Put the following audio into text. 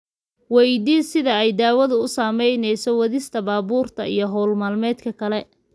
Waydii sida ay daawadu u saamaynayso wadista baabuurta iyo hawl maalmeedka kale.